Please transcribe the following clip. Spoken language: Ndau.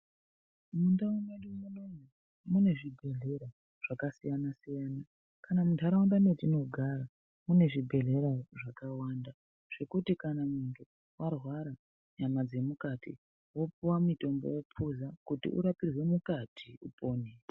Mundau mwedu munomu munezvibhedhlera zvakasiyana siyana zvakawanda kana muntaraunda mwetinogara mune zvibhedhleya zvakawanda zvekuti kana muntu arwara nyama dzemukati wopuwa mutombo wophuza kuti urapirwe mukati upone.